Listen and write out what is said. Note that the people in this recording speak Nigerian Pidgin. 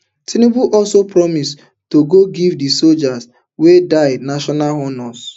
tinubu also promise to go give di sojas wey die national honours